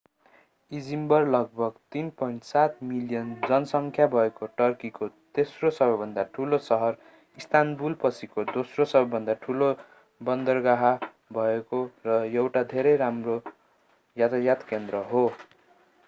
Izmir लगभग 3.7 million जनसंख्या भएको टर्कीको तेस्रो सबैभन्दा ठूलो सहर इस्तानबुलपछिको दोस्रो सबैभन्दा ठूलो बन्दरगाह भएको र एउटा धेरै राम्रो यातायात केन्द्र हो